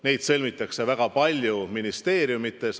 Neid sõlmitakse väga palju ministeeriumides.